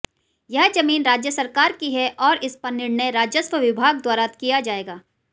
यह जमीन राज्य सरकार की है और इस पर निर्णय राजस्व विभाग द्वारा किया जाएगा